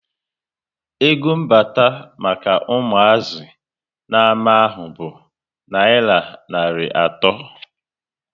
Ego mbata maka umuazi na ama ahụ bụ nayira narị ato